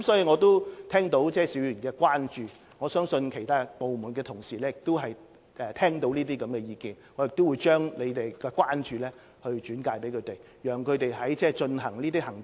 我已聽到邵議員的關注，我相信其他部門的同事亦已聽到這些意見，我會將議員的關注轉介他們跟進。